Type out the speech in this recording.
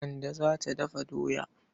Kande za ta dafa doya.